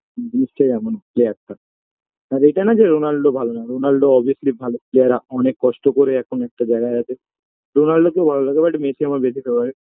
জিনিসটাই এমন player -টা আর এটা না যে রোনাল্ড ভালো না রোনাল্ড obviously ভালো যারা অনেক কষ্ট করে এখন একটা জায়গায় আছে রোনাল্ডকেও ভালো লাগে but মেসি আমার বেশি favorite